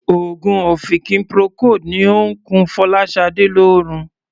Òogùn ọ̀fìnkì Procold ni ó ń kun Fọláṣadé lórun.